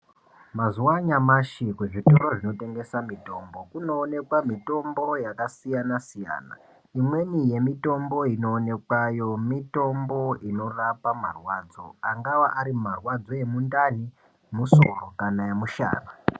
Mazuwa anyamashi kuzvitoro zvinotengesa mitombo kunoonekwa mitombo yakasiyanasiyana imweni yemitombo inoonekwayo mitombo inorapa marwadzo ,angava ari marwadzo emundani ,musoro kana emushana.